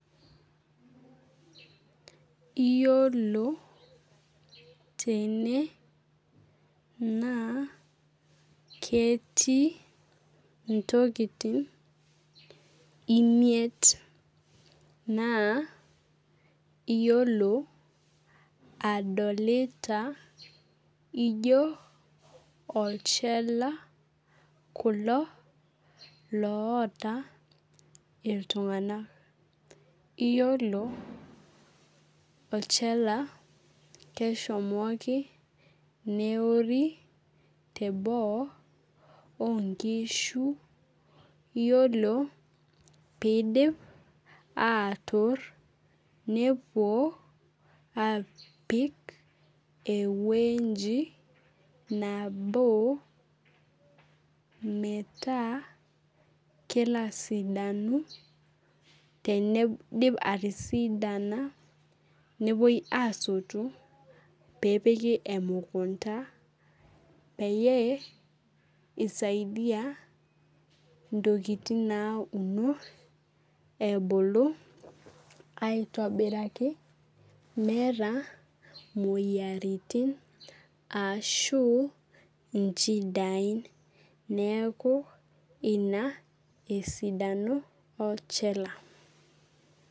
Iyiolo tene na ketii ntokitin imiet naa iyiolo adolita ijo olchala kulo loota iltunganak iyolo olchala keshomoita neori teboo onkishu iyiolo peidipi atoor nepuo apik ewueji nabo metaa kelo asidanu teneidip atisidana nepuoi asotu pepiki emukunda peyie isaidia ntokitin nauno ebulu aitobiraki meeta moyiaritin ashu inchidai neaku ina esidano olchala.